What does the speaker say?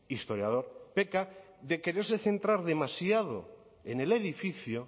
historiador peca de quererse centrar demasiado en el edificio